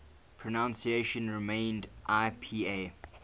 pronunciation remained ipa